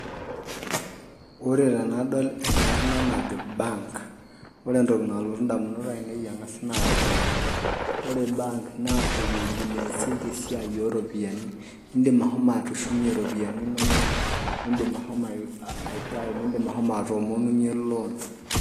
Ore tendaol enkarna najo bank ore entoki nalotu ndamunot ainei ang'as naa iropiyiani ore bank naa ewueji naasieki esiai ooropiyiani iindim ashomo atushumie iropiyiani inonok iindim ashomo aitayu, iindim ashomo atoomonunyie loan.